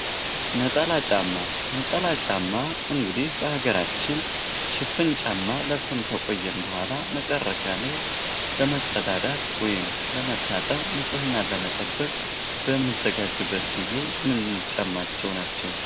ነጠላ ጫማ፤ ነጠላ ጫማ እንግዲህ በሃገራችን ሽፍን ጫማ ለብሰን ከቆየን በህዋላ መጨረሻ ላይ ለመጸዳዳት ወይም ለመታጠብ፣ ንጽህናን ለመጠበቅ በምንዘጋጅበት ጊዜ የምንጫማቸው ናቸው።